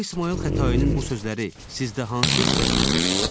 Şah İsmayıl Xətainin bu sözləri sizdə hansı hisslər oyadır?